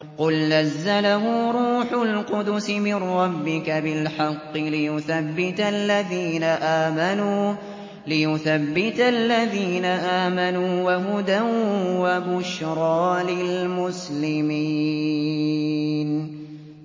قُلْ نَزَّلَهُ رُوحُ الْقُدُسِ مِن رَّبِّكَ بِالْحَقِّ لِيُثَبِّتَ الَّذِينَ آمَنُوا وَهُدًى وَبُشْرَىٰ لِلْمُسْلِمِينَ